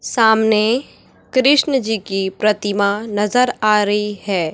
सामने कृष्ण जी की प्रतिमा नजर आ रही है।